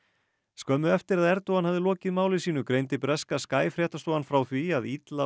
skömmu eftir að Erdogan hafði lokið máli sínu greindi breska fréttastofan frá því að illa